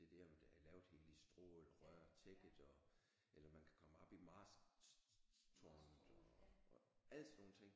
Det der der er lavet helt i strå eller rørtækket og eller man kan komme op i Marsk tårnet og alle sådan nogle ting